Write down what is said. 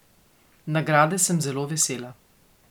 Nagrade sem zelo vesela.